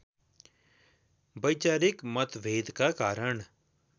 वैचारिक मतभेदका कारण